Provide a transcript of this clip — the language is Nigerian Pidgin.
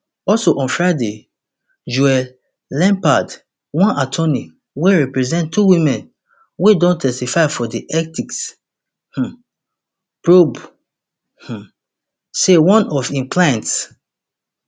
also on friday joel leppard one attorney wey represent two women wey don testify for di ethics um probe um say one of im clients